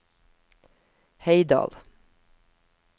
Heidal